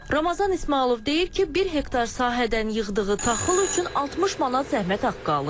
Ramazan İsmayılov deyir ki, bir hektar sahədən yığdığı taxıl üçün 60 manat zəhmət haqqı alır.